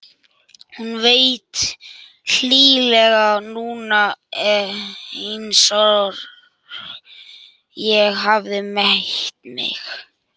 Hún er hlýleg núna einsog ég hafi meitt mig.